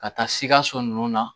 Ka taa sikaso nunnu na